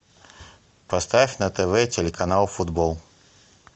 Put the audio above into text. поставь на тв телеканал футбол